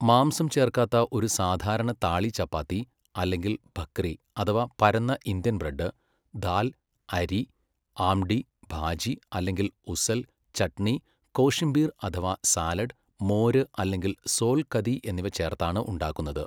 മാംസം ചേർക്കാത്ത ഒരു സാധാരണ താളി ചപ്പാത്തി അല്ലെങ്കിൽ ഭക്രി അഥവാ പരന്ന ഇന്ത്യൻ ബ്രെഡ്, ദാൽ, അരി, ആമ്ടി, ഭാജി അല്ലെങ്കിൽ ഉസൽ, ചട്നി, കോഷിംബീർ അഥവാ സാലഡ്, മോര് അല്ലെങ്കിൽ സോൽ കദി എന്നിവ ചേർത്താണ് ഉണ്ടാക്കുന്നത്.